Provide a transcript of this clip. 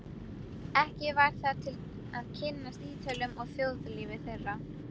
Ekki var það til að kynnast Ítölum og þjóðlífi þeirra.